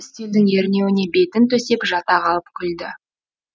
үстелдің ернеуіне бетін төсеп жата қалып күлді